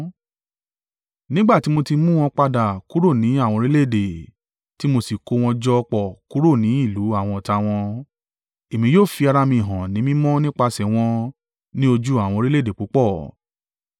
Nígbà tí mo ti mú wọn padà kúrò ní àwọn orílẹ̀-èdè, tí mo sì kó wọn jọ pọ̀ kúrò ni ìlú àwọn ọ̀tá wọn, èmi yóò fi ara mi hàn ni mímọ́ nípasẹ̀ wọn ní ojú àwọn orílẹ̀-èdè púpọ̀.